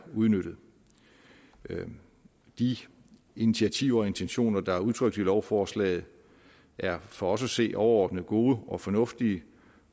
udnyttet de initiativer og intentioner der er udtrykt i lovforslaget er for os at se overordnet gode og fornuftige